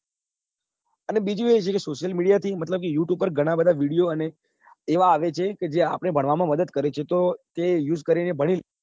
અને બીજું અને બીજું એ છે કે social media થી મતલબ કે youtube પર ઘણાં બધા video એવા આવે છે તો તે આપણને ભણવા મદદ તો એ use કરી ને ભાણી લેવું